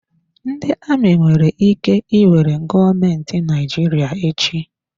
Ndị amị nwere ike iwere gọọmentị Naịjirịa echi.